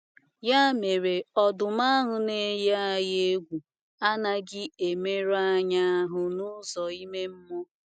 Ya mere, “ ọdụm ” ahụ na - eyi egwu adịghị emerụ anyị ahụ n’ụzọ ime mmụọ.